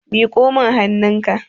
miƙo min hannunka!